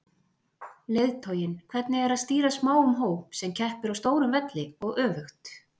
Leiðtoginn, hvernig er að stýra smáum hóp sem keppir á stórum velli og öfugt?